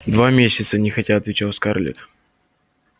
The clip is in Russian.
два месяца нехотя отвечала скарлетт